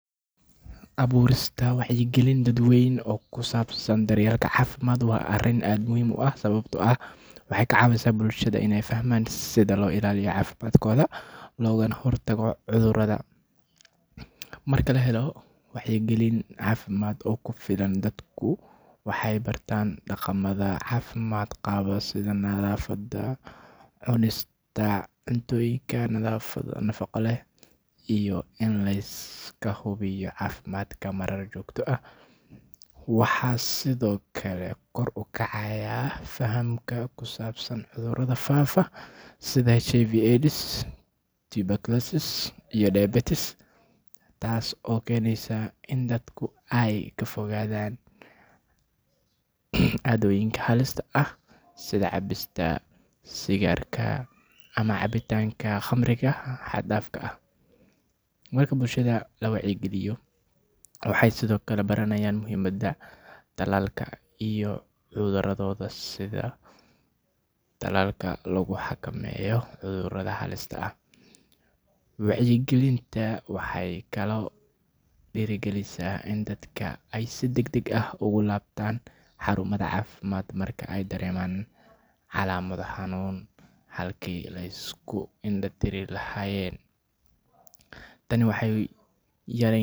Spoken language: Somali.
Abuurista wacyigelin dadweyne oo ku saabsan daryeelka caafimaadka waa arrin aad muhiim u ah sababtoo ah waxay ka caawisaa bulshada in ay fahmaan sida loo ilaaliyo caafimaadkooda, loogana hortago cudurrada. Marka la helo wacyigelin caafimaad oo ku filan, dadku waxay bartaan dhaqamada caafimaad qaba sida nadaafadda, cunista cuntooyinka nafaqo leh, iyo in la iska hubiyo caafimaadka marar joogto ah. Waxaa sidoo kale kor u kacaaya fahamka ku saabsan cudurrada faafa sida HIV/AIDS, tuberculosis, iyo diabetes, taas oo keenaysa in dadku ay ka fogaadaan caadooyinka halista ah sida cabista sigaarka ama cabitaanka khamriga xad-dhaafka ah. Marka bulshada la wacyigeliyo, waxay sidoo kale baranayaan muhiimadda tallaalka iyo in ay carruurtooda siiyaan tallaalka lagu xakameeyo cudurrada halista ah. Wacyigelinta waxay kaloo dhiirrigelisaa in dadka ay si degdeg ah ugu laabtaan xarumaha caafimaadka marka ay dareemaan calaamado xanuun, halkii ay iska indha tiri lahaayeen. Tani waxay.